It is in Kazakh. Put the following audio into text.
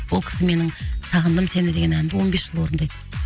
ол кісі менің сағындым сені деген әнді он бес жыл орындайды